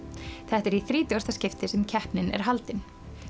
þetta er í þrítugasta skipti sem keppnin er haldin